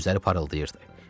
Gözləri parıldayırdı.